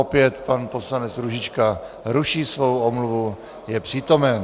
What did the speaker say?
Opět pan poslanec Růžička ruší svou omluvu, je přítomen.